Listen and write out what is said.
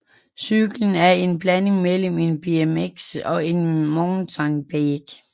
Cyklen er en blanding mellem en BMX og en mountainbike